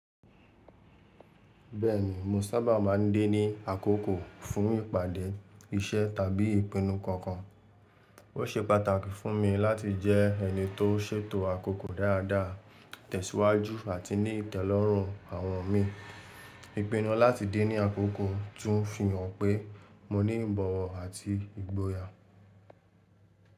Bẹ́ẹ̀ni, mo sábà máa ń dé ní àkókò fún ìpàdé iṣẹ́ tàbí ìpinnu kankan. Ó ṣe pàtàkì fún mi láti jẹ́ ẹni tó ṣètò àkókò dáadáa, tẹ̀síwájú àti ní ìtẹ́lọ́rùn àwọn mi. Ìpinnu láti dé ní àkókò tún fi hàn pé mo ní ìbọ̀wọ̀ àti ìgboyà.